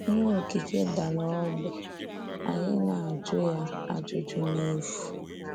Íhè òkìké dárà ọ̀gbì, ànyị́ na-ajụ́ ya ajụ́jụ́ n’efu;